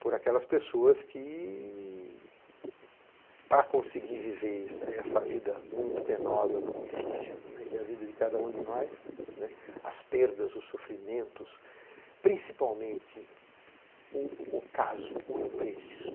por aquelas pessoas que, para conseguir viver essa vida muito penosa, muito difícil, né, que é a vida de cada um de nós, né, as perdas, os sofrimentos, principalmente o o caso, o imprevisto.